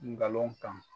Ngalon kan